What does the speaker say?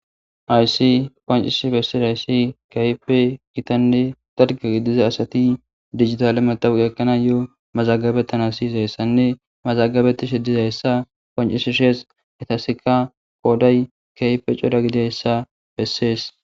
Aysi qoncihsi bessida ayssi kaype gitanne dargagi diza asati digitale madawugekkana yo7o mazagabettan a siizayessanne mazagabetti shidizayessa qoncisishees etasika kooday kaype coda gidehessa bessees.